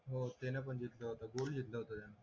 बोलू शकले